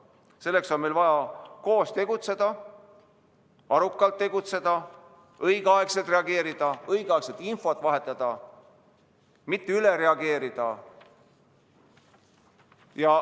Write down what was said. Selleks on meil vaja koos tegutseda, arukalt tegutseda, õigeaegselt reageerida, õigeaegselt infot vahetada, mitte üle reageerida.